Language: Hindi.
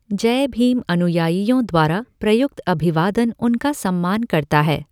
जय भीम अनुयायियों द्वारा प्रयुक्त अभिवादन उनका सम्मान करता है।